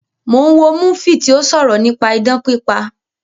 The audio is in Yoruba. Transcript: Mo ń wo múfì tí ó sọ̀rọ̀ nípa idán pípa